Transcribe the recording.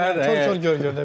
Kor kor gör gör de.